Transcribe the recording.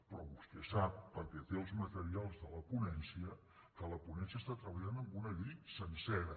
però vostè sap perquè té els materials de la ponència que la ponència està treballant amb una llei sencera